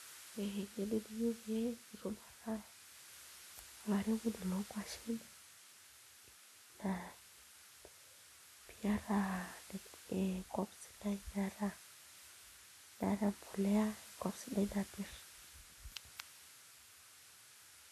Ore eng'eno niyieu pee itum ataa olairemoni loonkuashen naa pee iata enkop sidai naata embolea enkop sidai napirr.